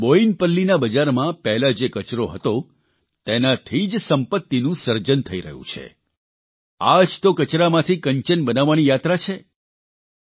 આજે બોયિનપલ્લીના બજારમાં પહેલા જે કચરો હતો તેનાથી જ સંપત્તિનું સર્જન થઇ રહ્યું છે આ જ તો કચરામાંથી કંચન બનાવવાની યાત્રા છે